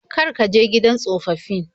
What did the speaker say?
Kar ka je gidan tsofaffin.